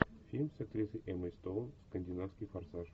фильм с актрисой эммой стоун скандинавский форсаж